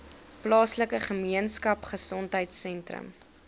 plaaslike gemeenskapgesondheid sentrum